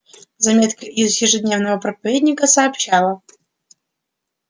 заметка из ежедневного проповедника сообщала